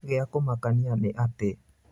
Gĩa kũmakania nĩ atĩ.